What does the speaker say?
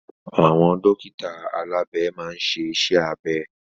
Àwọn dókítà alabe maa n ṣe iṣẹ́ abẹ.